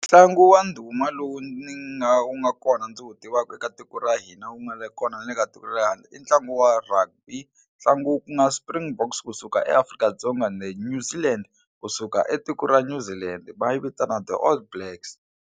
Ntlangu wa ndhuma lowu ni nga wu nga kona ndzi wu tivaka eka tiko ra hina wu nga le kona na le ka tiko ra le handle i ntlangu wa rugby ntlangu ku nga Springboks kusuka eAfrika-Dzonga na New Zealand Land kusuka etiko ra New Zealand va yi vitana The All Blacks.